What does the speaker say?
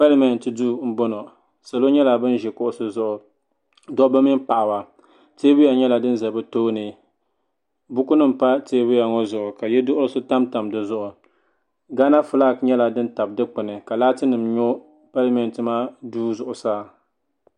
Palimenti duu mboŋɔ salo nyɛla ban ʒi kuɣusi zuɣu dobba mini paɣaba teebuya nyɛla din za bɛ tooni bukunima pa teebuya ŋɔ zuɣu ka yeduɣurisi tamtam di zuɣu Gana filaaki tabi dikpini ka laatinima nyo palimentimaa duu zuɣusaa.